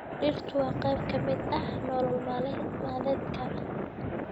Dhirtu waa qayb ka mid ah nolol maalmeedka.